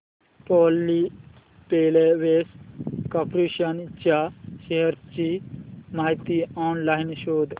Polyplex corporation च्या shares ची माहिती ऑनलाइन शोध